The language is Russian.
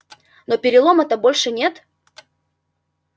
но перелома-то больше нет